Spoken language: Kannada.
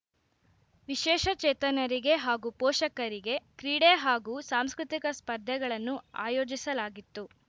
ವಿಶೇಷ ಚೇತನರಿಗೆ ಹಾಗೂ ಪೋಷಕರಿಗೆ ಕ್ರೀಡೆ ಹಾಗೂ ಸಾಂಸ್ಕೃತಿಕ ಸ್ಪರ್ಧೆಗಳನ್ನು ಆಯೋಜಿಸಲಾಗಿತ್ತು